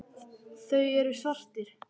Þeir eru svartir.